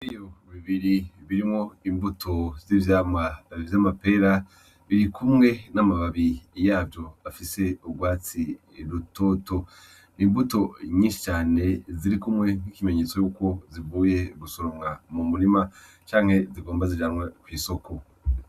Iyo bibiri birimwo imbuto z'ivyamwa vy'amapera biri kumwe n'amababi yavyo afise ubwatsi rutoto imbuto nyishi cane ziri kumwe nk'ikimenyetso yuko zivuye gusoromwa mu murima canke zigomba zijanwe kw'isoko.